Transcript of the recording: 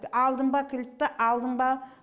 алдын ба кілтті алдын ба